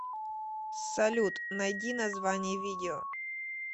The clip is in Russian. салют найди название видео